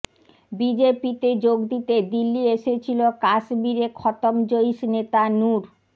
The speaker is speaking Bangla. বিজেপিতে যোগ দিতে দিল্লি এসেছিল কাশ্মীরে খতম জইশ নেতা নুর